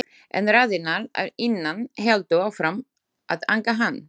En raddirnar að innan héldu áfram að angra hann.